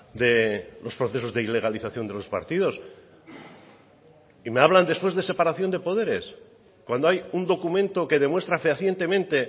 de los procesos de ilegalización de los partidos y me hablan después de separación de poderes cuando hay un documento que demuestra fehacientemente